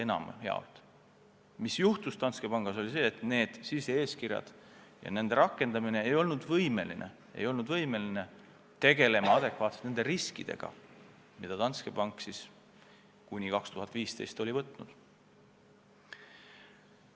Aga Danske Bankis juhtus see, et nende sise-eeskirjade rakendamisel ei oldud võimelised tegelema adekvaatselt nende riskidega, mis Danske Bank enne 2015. aastat võtnud oli.